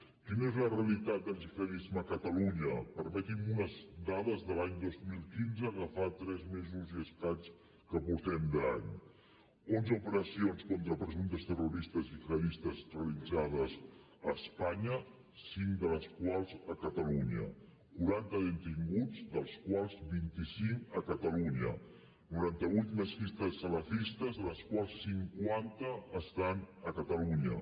quina és la realitat del gihadisme a catalunya permeti’m unes dades de l’any dos mil quinze que fa tres mesos i escaig que portem d’any onze operacions contra presumptes terroristes gihadistes realitzades a espanya cinc de les quals a catalunya quaranta detinguts dels quals vint cinc a catalunya noranta vuit mesquites salafistes de les quals cinquanta estan a catalunya